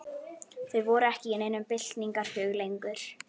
Þeir voru ekki í neinum byltingarhug lengur.